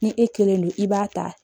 Ni e kelen don i b'a ta